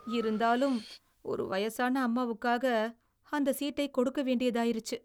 இருந்தாலும், ஒரு வயசான அம்மாவுக்காக அந்த சீட்டைக் கொடுக்க வேண்டியதாயிருச்சு.